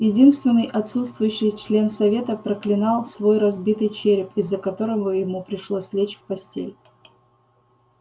единственный отсутствующий член совета проклинал свой разбитый череп из-за которого ему пришлось лечь в постель